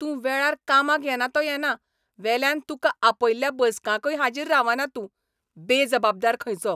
तूं वेळार कामाक येना तो येना वेल्यान तुका आपयल्ल्या बसकांकय हाजीर रावना तूं, बेजबाबदार खंयचो!